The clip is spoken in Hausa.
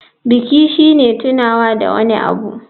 Biki shine tunawa da wani abu.